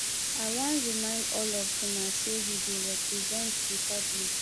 i wan remind all of una say we dey represent the public